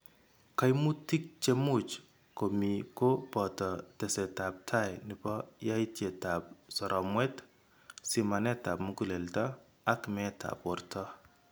Kaimutik che much ko mi ko boto tesetab tai nebo yaitietab soromwet, simanetab muguleldo ak meetab borto.